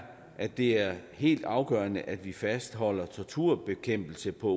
at det er helt afgørende at vi fastholder torturbekæmpelse på